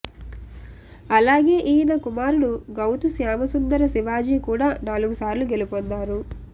అలాగే ఈయన కుమారుడు గౌతు శ్యామసుందర శివాజీ కూడా నాలుగుసార్లు గెలుపొందారు